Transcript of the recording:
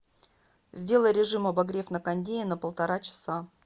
сделай режим обогрев на кондее на полтора часа